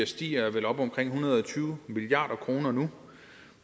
steget og er vel oppe på en hundrede og tyve milliard kroner nu